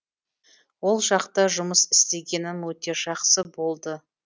ол жақта жұмыс істегенім өте жақсы болды